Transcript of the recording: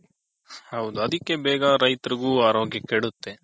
ಹೌದು ಅದಿಕೆ ಬೇಗ ರೈತರಗು ಅರೋಗ್ಯ ಕೇಡುತ್ತೆ.